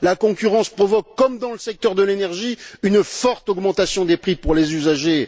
La concurrence provoque, comme dans le secteur de l'énergie, une forte augmentation des prix pour les usagers.